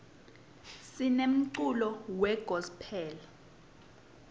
sinemculo we gospel